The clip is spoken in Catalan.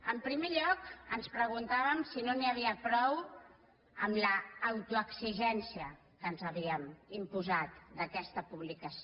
en primer lloc ens preguntàvem si no n’hi havia prou amb l’autoexigència que ens havíem imposat d’aquesta publicació